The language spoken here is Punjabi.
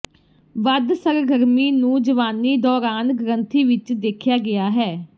ਵੱਧ ਸਰਗਰਮੀ ਨੂੰ ਜਵਾਨੀ ਦੌਰਾਨ ਗ੍ਰੰਥੀ ਵਿਚ ਦੇਖਿਆ ਗਿਆ ਹੈ